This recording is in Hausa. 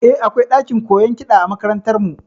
Eh, akwai ɗakin koyon kiɗa a makarantar mu